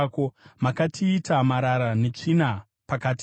Makatiita marara netsvina pakati pendudzi.